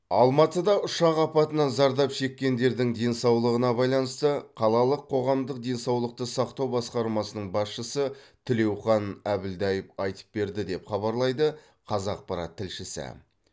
алматыда ұшақ апатынан зардап шеккендердің денсаулығына байланысты қалалық қоғамдық денсаулықты сақтау басқармасының басшысы тілеухан әбілдаев айтып берді деп хабарлайды қазақпарат тілшісі